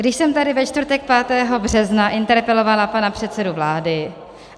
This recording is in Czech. Když jsem tady ve čtvrtek 5. března interpelovala pana předsedu vlády...